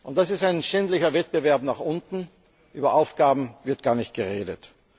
Das ist ein schändlicher Wettbewerb nach unten, über Aufgaben wird gar nicht geredet.